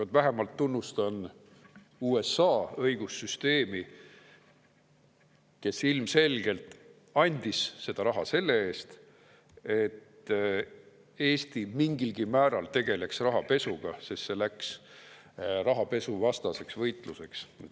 Vähemalt tunnustan ma USA õigussüsteemi, kes ilmselgelt andis seda raha selle eest, et Eesti mingilgi määral tegeleks rahapesuga, sest see läks rahapesuvastaseks võitluseks.